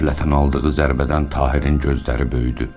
Qəflətən aldığı zərbədən Tahirin gözləri böyüdü.